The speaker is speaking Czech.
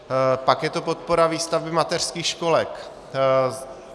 Pak je to podpora výstavby mateřských školek.